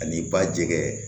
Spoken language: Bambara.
Ani ba jɛgɛ